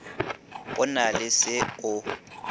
go na le se o